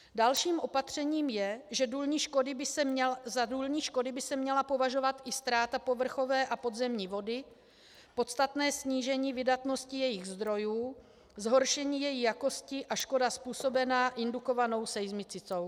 Dalším opatřením je, že za důlní škody by se měla považovat i ztráta povrchové a podzemní vody, podstatné snížení vydatnosti jejích zdrojů, zhoršení její jakosti a škoda způsobená indukovanou seismicitou.